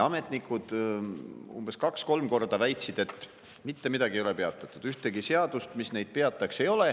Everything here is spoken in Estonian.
Ametnikud kaks-kolm korda väitsid, et mitte midagi ei ole peatatud, ühtegi seadust, mis seda peataks, ei ole.